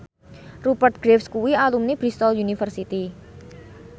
Rupert Graves kuwi alumni Bristol university